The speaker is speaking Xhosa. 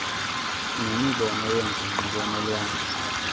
nemibono yengingqi kwanolwazi